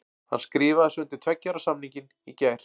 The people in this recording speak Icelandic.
Hann skrifaði svo undir tveggja ára samningin í gær.